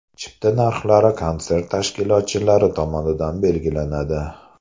Chipta narxlari konsert tashkilotchilari tomonidan belgilanadi.